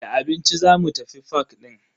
Da abinci zamu tafi fak din.